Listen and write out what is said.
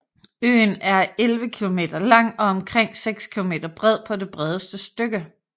Øen er 11 km lang og omkring 6 km bred på det bredeste stykke